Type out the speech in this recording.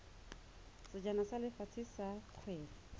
sejana sa lefatshe sa kgwele